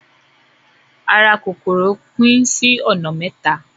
Ara kòkòrò pín sí ọ̀nà mẹ́ta.